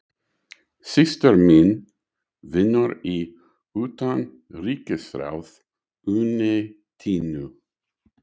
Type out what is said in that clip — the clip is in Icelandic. Systir mín vinnur í Utanríkisráðuneytinu.